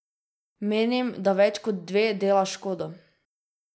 Menim, da več kot dve dela škodo.